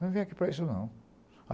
Não vem aqui para isso, não.